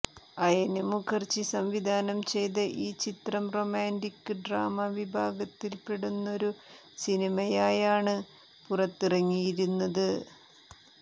അയന് മുഖര്ജി സംവിധാനം ചെയ്ത ഈ ചിത്രം റൊമാന്റിക്ക് ഡ്രാമ വിഭാഗത്തില്പ്പെടുന്നൊരു സിനിമയായാണ് പുറത്തിറങ്ങിയിരുന്നത്